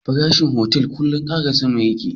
Farashi otal kullun kara sama yake